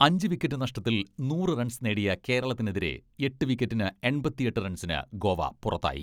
അഞ്ച് വിക്കറ്റ് നഷ്ടത്തിൽ നൂറ് റൺസ് നേടിയ കേരളത്തിനെതിരെ എട്ട് വിക്കറ്റിന് എൺപത്തിയെട്ട് റൺസിന് ഗോവ പുറത്തായി.